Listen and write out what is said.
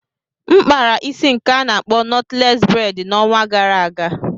M kpara isi nke a na-akpọ knotless braid n'ọnwa gara aga.